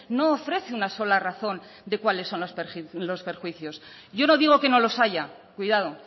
no ofrece una sola razón de cuáles son los perjuicios yo no digo que no los haya cuidado